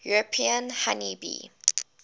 european honey bee